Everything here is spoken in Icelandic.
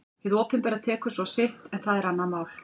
Hið opinbera tekur svo sitt en það er annað mál.